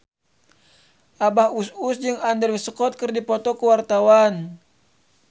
Abah Us Us jeung Andrew Scott keur dipoto ku wartawan